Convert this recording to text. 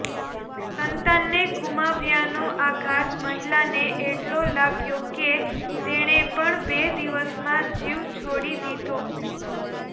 સંતાનને ગુમાવ્યાનો આઘાત મહિલાને એટલો લાગ્યો કે તેણે પણ બે દિવસમાં જીવ છોડી દીધો